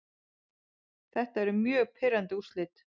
Þetta eru mjög pirrandi úrslit.